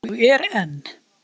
Og er enn